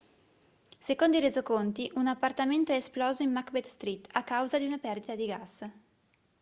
secondo i resoconti un appartamento è esploso in macbeth street a causa di una perdita di gas